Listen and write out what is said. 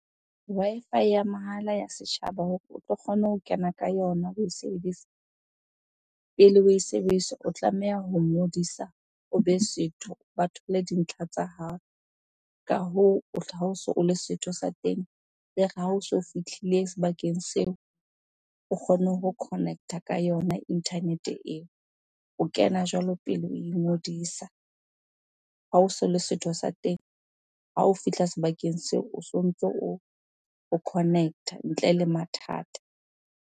Wi-Fi ya mahala ya setjhaba hore o tlo kgone ho kena ka yona oe sebedisa. Pele o e sebedisa, o tlameha ho ngodisa, obe setho, ba thole dintlha tsa hao. Ka hoo, ha oso o le setho sa teng, ere ha o so fihlile sebakeng seo o kgone ho connect-a ka yona internet-e eo. O kena jwalo pele o ingodisa. Ha oso o le setho sa teng, ha o fihla sebakeng seo o so ntso o connect-a ntle le mathata.